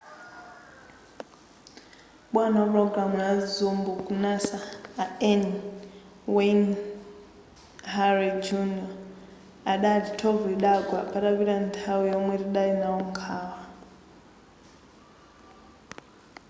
bwana wapulogalamu ya zombo ku nasa a n wayne hale jr adati thovu lidagwa patapita nthawi yomwe tidali nawo nkhawa